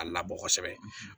A labɔ kosɛbɛ